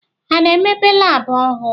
Ha a na-emepe labụ ọhụụ